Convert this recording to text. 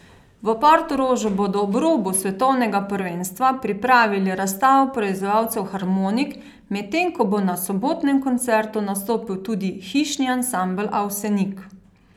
V Portorožu bodo ob robu svetovnega prvenstva pripravili razstavo proizvajalcev harmonik, medtem ko bo na sobotnem koncertu nastopil tudi Hišni ansambel Avsenik.